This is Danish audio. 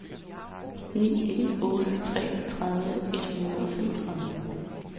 ni en otte tre tredive et hundrede og femogtredive